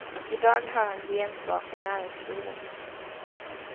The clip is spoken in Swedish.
I dag hör han gensvar från näringslivet.